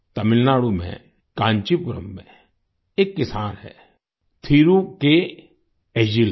तमिलनाडु में काँचीपुरम में एक किसान हैं थिरु के एझिलन